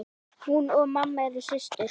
Hún og mamma eru systur.